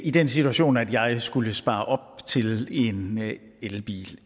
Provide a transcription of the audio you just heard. i den situation at jeg skulle spare op til en elbil